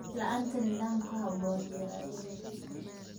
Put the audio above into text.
La'aanta nidaam ku habboon beeralayda.